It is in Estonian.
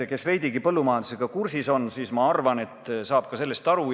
Kes veidigi põllumajandusega kursis on, saab sellest minu arvates aru.